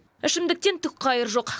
ішімдіктен түк қайыр жоқ